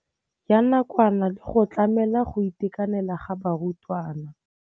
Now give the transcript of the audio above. Ya nakwana le go tlamela go itekanela ga barutwana.